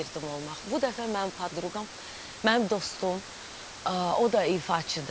Bu dəfə mənim podruqam, mənim dostum, o da ifaçıdır.